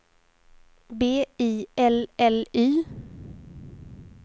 B I L L Y